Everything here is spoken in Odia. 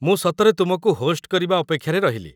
ମୁଁ ସତରେ ତୁମକୁ ହୋଷ୍ଟ କରିବା ଅପେକ୍ଷାରେ ରହିଲି ।